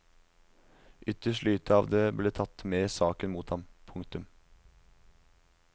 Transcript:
Ytterst lite av det ble tatt med i saken mot ham. punktum